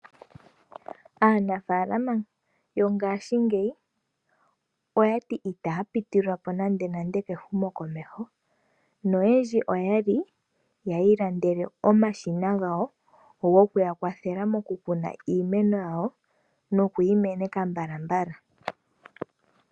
Aanafaalama yogashingeyi oya ti ita ya pitililwapo nande nande kehumo komeho, noyendji oya li ya ilandele omashina gawo, go ku ya kwathela mo ku Kuna iimeno yawo no ku yi meneka mbalambala.